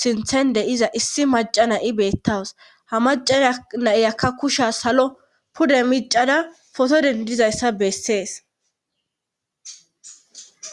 sinthende iza issi macana i beettawus ha macana naiyakka kusha salo pude micada foto dendizayssa bessees